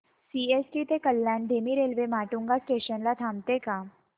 CST ते कल्याण धीमी railway Matunga station ला थांबते का